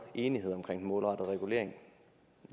enighed omkring den målrettede regulering